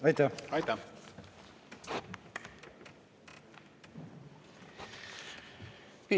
Aitäh!